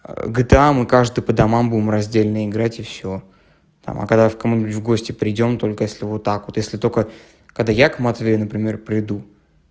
гта мы каждый по домам будем раздельно играть и всё там а когда в кому-нибудь в гости придём только если вот так вот если только когда я к матвею например приду